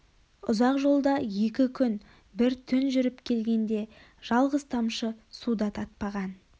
ұзақ жолда екі күн бір түн жүріп келгенде жалғыз тамшы су да татпаған